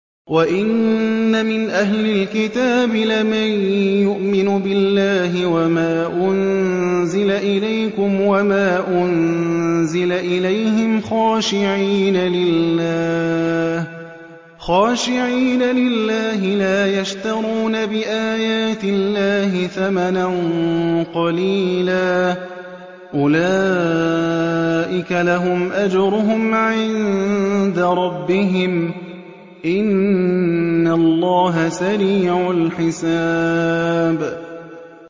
وَإِنَّ مِنْ أَهْلِ الْكِتَابِ لَمَن يُؤْمِنُ بِاللَّهِ وَمَا أُنزِلَ إِلَيْكُمْ وَمَا أُنزِلَ إِلَيْهِمْ خَاشِعِينَ لِلَّهِ لَا يَشْتَرُونَ بِآيَاتِ اللَّهِ ثَمَنًا قَلِيلًا ۗ أُولَٰئِكَ لَهُمْ أَجْرُهُمْ عِندَ رَبِّهِمْ ۗ إِنَّ اللَّهَ سَرِيعُ الْحِسَابِ